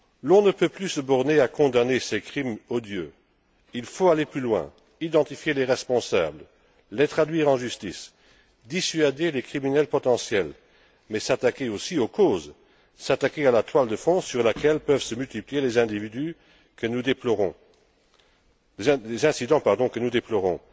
On ne peut plus se borner à condamner ces crimes odieux. Il faut aller plus loin, identifier les responsables, les traduire en justice, dissuader les criminels potentiels, mais s'attaquer aussi aux causes, s'attaquer à la toile de fond sur laquelle peuvent se multiplier les incidents que nous déplorons.